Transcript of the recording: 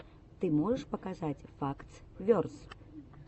ты можешь показать фактс верс